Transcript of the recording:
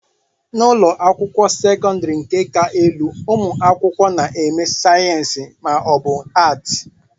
n'ụlọ akwụkwọ sekọndrị nke ka elu ụmụ akwụkwọ na-eme sayensị ma ọ bụ Atị